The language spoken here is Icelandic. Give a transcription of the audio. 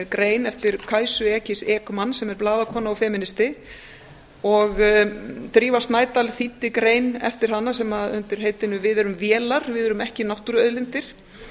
grein eftir kajsu ekis ekman sem er blaðakona og femínisti drífa snædal þýddi grein eftir hana undir heitinu við erum vélar við erum ekki náttúruauðlindir